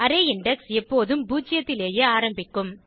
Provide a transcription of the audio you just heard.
array index எப்போதும் பூஜ்ஜியத்திலேயே ஆரம்பிக்கும்